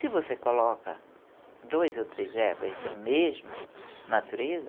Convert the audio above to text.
Se você coloca dois ou três ervas da mesma natureza,